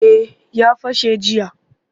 Eh ya fashe jiya